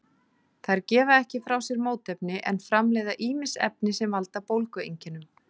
Þær gefa ekki frá sér mótefni en framleiða ýmis efni sem valda bólgueinkennum.